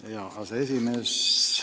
Hea aseesimees!